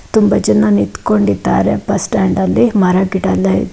ತುಂಬ ಜನ ನಿತ್ಕೊಂಡಿದ್ದಾರೆ ಬಸ್ಟ್ಯಾಂಡ್ ಅಲ್ಲಿ ಮರ ಗಿಡ ಎಲ್ಲ ಇದೆ.